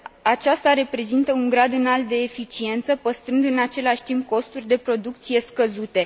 Aceasta prezintă un grad înalt de eficiență, păstrând în același timp costuri de producție scăzute.